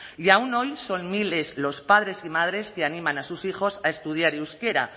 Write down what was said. y aún hoy son miles los padres y madres que animan a sus hijos a estudiar euskera